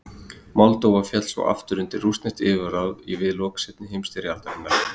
Moldóva féll svo aftur undir rússnesk yfirráð við lok seinni heimstyrjaldarinnar.